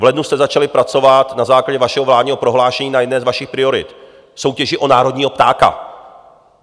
V lednu jste začali pracovat na základě vašeho vládního prohlášení na jedné z vašich priorit, soutěži o národního ptáka.